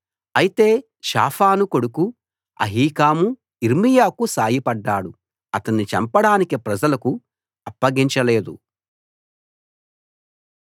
అయితే షాఫాను కొడుకు అహీకాము యిర్మీయాకు సాయపడ్డాడు అతణ్ణి చంపడానికి ప్రజలకు అప్పగించలేదు